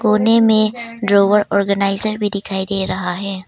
कोने में drawer organiser भी दिखाई दे रहा हैं।